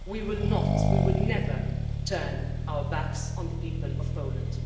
We will not we will never turn our backs on the people of Poland.